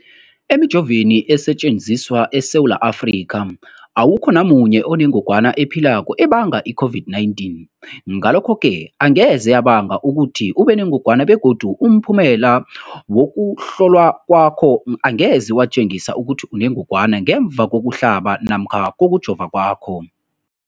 Emijoveni esetjenziswa eSewula Afrika, awukho namunye onengog wana ephilako ebanga i-COVID-19. Ngalokho-ke angeze yabanga ukuthi ubenengogwana begodu umphumela wokuhlolwan kwakho angeze watjengisa ukuthi unengogwana ngemva kokuhlaba namkha kokujova kwakho.